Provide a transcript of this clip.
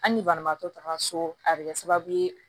Hali ni banabaatɔ taga so a bɛ kɛ sababu ye